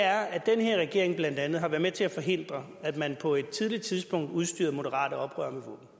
er at den her regering blandt andet har været med til at forhindre at man på et tidligt tidspunkt udstyrede moderate oprørere